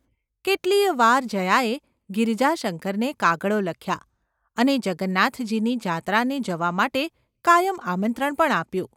કેટલી યે વાર જયાએ ગિરિજાશંકરને કાગળો લખ્યા અને જગન્નાથજીની જાત્રાએ જવા માટે કાયમ આમંત્રણ પણ આપ્યું.